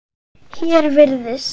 Hér virðist